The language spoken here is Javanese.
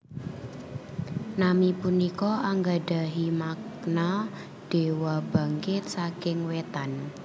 Nami punika anggadhahi makna Dewa Bangkit saking Wétan